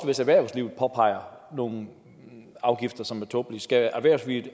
hvis erhvervslivet påpeger nogle afgifter som er tåbelige skal